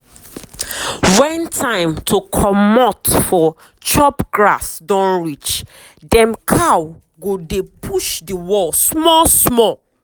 when time to comot for chop grass don reachdem cow go dey push the wall small small.